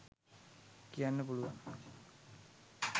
කියන්න පුලුවන්.